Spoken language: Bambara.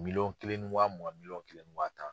Miliyɔn kelen ni wa mugan miliyɔn kelen ni wa tan.